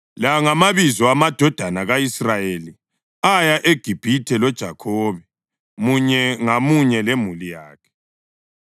La ngamabizo amadodana ka-Israyeli aya eGibhithe loJakhobe, munye ngamunye lemuli yakhe: